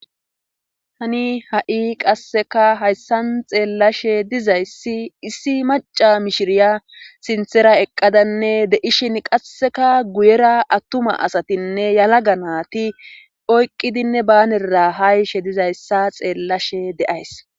Tani ha'i qasseka hayssan xeellashe dizayssi issi maca mishiriya sinthera eqqadanne de'ishin qasseka guyera attuma asatinne yalaga naati oyqqidinne baanera hayishe dizayssa xeellashe de'ays